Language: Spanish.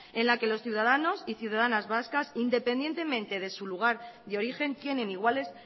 en la que los ciudadanos y ciudadanas vascas independientemente de su lugar de origen tienen iguales